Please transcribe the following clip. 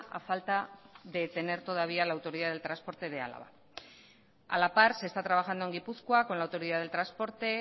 a falta de tener todavía la autoridad del transporte de álava a la par se está trabajando en gipuzkoa con la autoridad del transporte